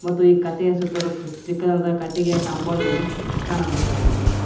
ಮತ್ತು ಈ ಕಟ್ಟಿಗೆ ಸುತ್ತಲೂ ಚಿಕ್ಕದಾದಂತ ಕಟ್ಟಿಗೆಯ ಕಾಂಪೌಂಡನ್ನು ಕಾಣಬಹುದಾಗಿದೆ.